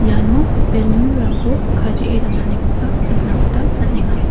iano balloon-rangko kadee donanikoba nikna gita man·enga.